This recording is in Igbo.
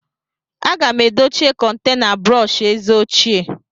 Aga m edochie kontena brọsh eze ochie.